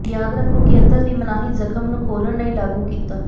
ਯਾਦ ਰੱਖੋ ਕਿ ਅਤਰ ਦੀ ਮਨਾਹੀ ਜ਼ਖ਼ਮ ਨੂੰ ਖੋਲ੍ਹਣ ਲਈ ਲਾਗੂ ਕੀਤਾ